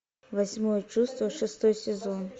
восьмое чувство шестой сезон